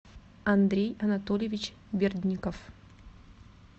андрей анатольевич бердников